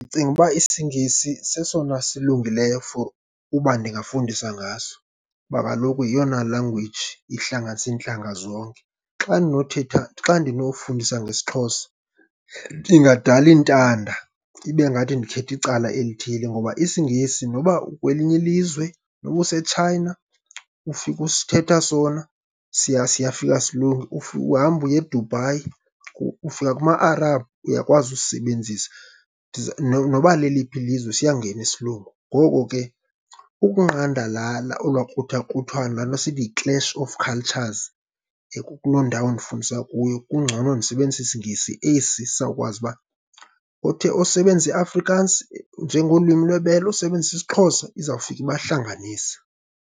Ndicinga uba isiNgesi sesona silungileyo for uba ndingafundisa ngaso, kuba kaloku yeyona language ihlanganisa iintlanga zonke. Xa ndinothetha, xa ndinofundisa ngesiXhosa ndingadala iintanda, ibe ngathi ndikhetha icala elithile, ngoba isiNgesi noba ukwelinye ilizwe, noba useChina ufika usithetha sona, siya siyafika silunge. Uhamba uye eDubai, ufika kuma-Arabhu, uyakwazi usisebenzisa. Noba leliphi lizwe siyangena isiLungu. Ngoko ke, ukunqanda laa olwaa kruthakruthwano, laa nto sithi yi-clash of cultures, kuloo ndawo ndifundisa kuyo kungcono ndisebenzise isiNgesi esi sawukwazi uba othe osebenzisa iAfrikaans njengolwimi lwebele, osebenzisa isiXhosa izawufika ibahlanganise.